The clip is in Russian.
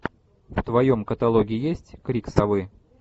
в твоем каталоге есть крик совы